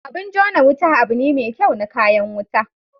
Abin jona Wuta abu ne me kyau na kayan wuta.